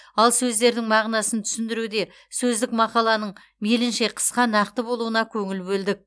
ал сөздердің мағынасын түсіндіруде сөздік мақаланың мейлінше қысқа нақты болуына көңіл бөлдік